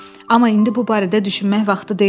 Amma indi bu barədə düşünmək vaxtı deyildi.